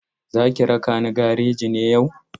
Za ki raka ni gareji ne yau?